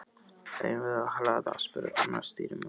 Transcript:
Eigum við að hlaða? spurði annar stýrimaður.